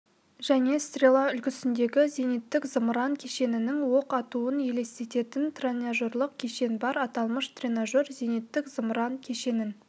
және стрела үлгісіндегі зениттік-зымыран кешенінің оқ атуын елестететін тренажерлық кешен бар аталмыш тренажер зениттік-зымыран кешенін